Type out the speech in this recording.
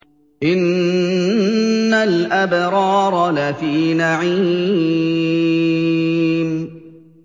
إِنَّ الْأَبْرَارَ لَفِي نَعِيمٍ